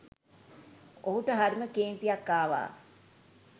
ඔහුට හරිම කේන්තියක් ආවා